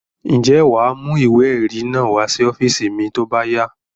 Ǹjẹ́ wà á mú ìwé-ẹ̀rí náà wá sí ọ́fíísì mi tó bá yá?